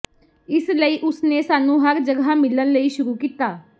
ਇਸ ਲਈ ਉਸ ਨੇ ਸਾਨੂੰ ਹਰ ਜਗ੍ਹਾ ਮਿਲਣ ਲਈ ਸ਼ੁਰੂ ਕੀਤਾ